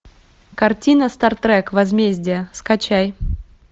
картина стартрек возмездие скачай